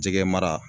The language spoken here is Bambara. Jɛgɛ mara